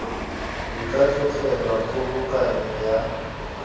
di ka tlogelwa kgobokanyo ya